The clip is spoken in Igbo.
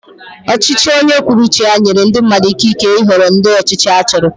Ọchịchị onye kwuo uche ya nyere ndị mmadụ ikike ịhọrọ ụdị ọchịchị ha chọrọ.